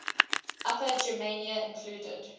upper germania included